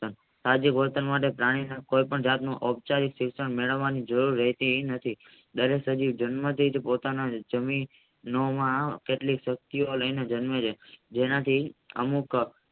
આદિ વર્તન માટે પ્રાણી કોઈ પણ જાતનું અપચરીત શિક્ષણ મેળવવા નું જરૂર રહરતી નથી ધારાસણી જન્મ થી પોતાના વચનોમાં કેટલીક પટ્ટીઓ લઈને જન્મે છે જેનાથી અમુક